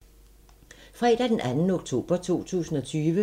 Fredag d. 2. oktober 2020